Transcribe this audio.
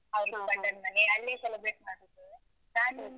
ಅವ್ಳ್ದು ಗಂಡನ್ ಮನೆ, ಅಲ್ಲೇ celebrate ಮಾಡುದು.